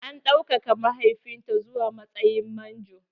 An ɗaukaka mahaifinta zuwa matsayin manjo.